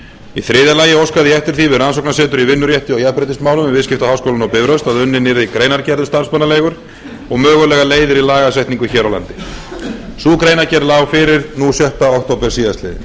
í þriðja lagi óskaði ég eftir því við rannsóknasetur í vinnurétti og jafnréttismálum við viðskiptaháskólann á bifröst að unnin yrði greinargerð um starfsmannaleigur og mögulegar leiðir í lagasetningu hér á landi sú greinargerð lá fyrir nú sjötta október síðastliðinn